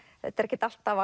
þetta er ekkert alltaf